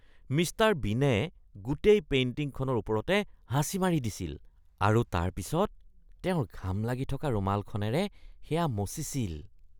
Mister বীনে গোটেই পেইণ্টিংখনৰ ওপৰতে হাঁচি মাৰি দিছিল আৰু তাৰপিছত তেওঁৰ ঘাম লাগি থকা ৰুমালখনেৰে সেয়া মচিছিল।